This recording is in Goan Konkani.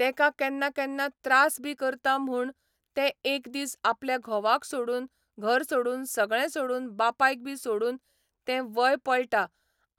तेका केन्ना केन्ना त्रास बी करता म्हूण ते एक दीस आपल्या घोवाक सोडून घर सोडून सगळें सोडून बापायक बी सोडून ते वय पळटा